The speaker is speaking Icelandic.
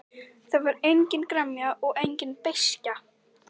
Það var engin gremja og engin beiskja.